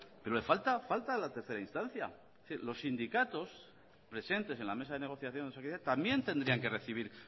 pero falta la tercera instancia es decir los sindicatos presentes en la mesa de negociación de osakidetza también tendrían que recibir